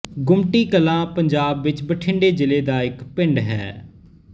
ਗੁਮਟੀ ਕਲਾਂ ਪੰਜਾਬ ਵਿੱਚ ਬਠਿੰਡੇ ਜ਼ਿਲ੍ਹੇ ਦਾ ਇੱਕ ਪਿੰਡ ਹੈ